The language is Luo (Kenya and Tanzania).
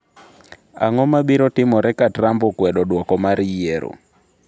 Ang’o ma biro timore ka Trump okwedo duoko mar yiero?